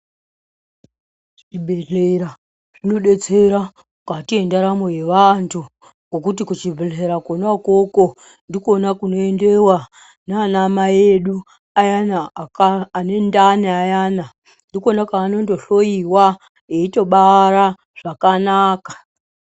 Zvibehlera zvinodetsera mukati yendaramo yavantu ngokuti kuchibhehlera konaikoko ndikona kunoendewa nanamai edu ayana anendani ayana, ndikona kwaanononhloyiwa eitobara zvakanaka.